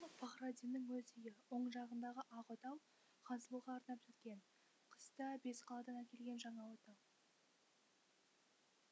пахраддиннің өз үйі оң жағындағы ақ отау хансұлуға арнап тіккен кыста бесқаладан әкелген жаңа отау